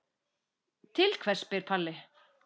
Til hvers spyr Palli.